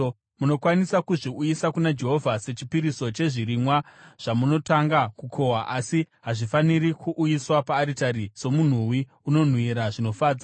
Munokwanisa kuzviuyisa kuna Jehovha sechipiriso chezvirimwa zvamunotanga kukohwa asi hazvifaniri kuuyiswa paaritari somunhuwi unonhuhwira zvinofadza.